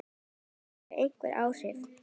Þetta hefur einhver áhrif hér.